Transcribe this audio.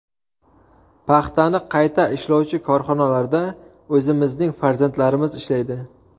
Paxtani qayta ishlovchi korxonalarda o‘zimizning farzandlarimiz ishlaydi.